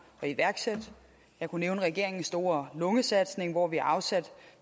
at iværksætte jeg kunne nævne regeringens store lungesatsning hvor vi afsatte